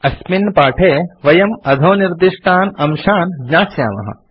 अस्मिन् पाठे वयम् अधोनिर्दिष्टान् अंशान् ज्ञास्यामः